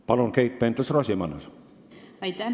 Palun, Keit Pentus-Rosimannus!